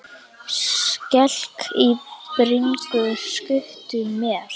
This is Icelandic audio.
Skelk í bringu skutu mér.